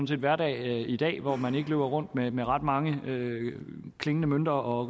set hverdag i dag hvor man ikke løber rundt med med ret mange klingende mønter og